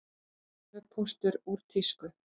Tölvupóstur úr tísku